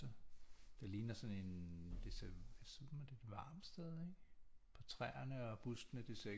Det ligner sådan en det ser ud som et varmt sted ikke på træerne og buskene det ser